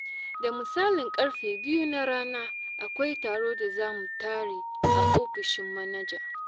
Da misalin ƙarfe biyu na rana akwai taro da za mu tare a ofishin manaja.